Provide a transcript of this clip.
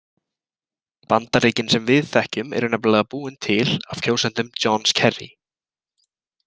Bandaríkin sem við þekkjum eru nefnilega búin til af kjósendum Johns Kerry.